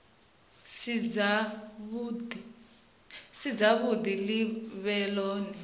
si dzavhuḓi ḽi vhe ḽone